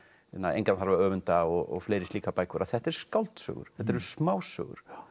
engan þarf að öfunda og fleiri slíkar bækur að þetta eru skáldsögur þetta eru smásögur